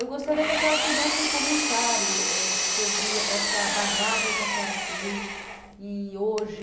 Eu gostaria que a senhora fizesse um comentário eh sobre essa bagagem que a senhora tem e hoje...